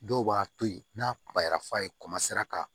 Dɔw b'a to yen n'a kunbayara f'a ye ka